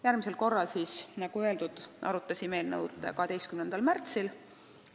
Järgmisel korral siis, nagu öeldud, arutasime eelnõu 12. märtsil.